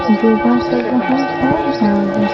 योगा कर रहा हैं और--